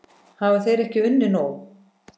Hafa þeir ekki unnið nóg?